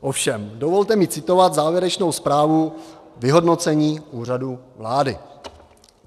Ovšem dovolte mi citovat závěrečnou zprávu vyhodnocení Úřadu vlády.